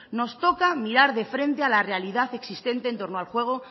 nos toca mirar de frente a la realidad existente en torno al juego